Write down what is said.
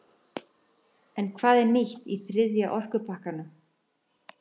En hvað er nýtt í þriðja orkupakkanum?